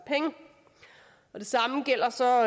og penge det samme gælder så